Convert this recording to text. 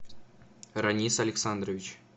ранис александрович